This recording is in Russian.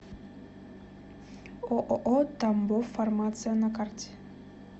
ооо тамбовфармация на карте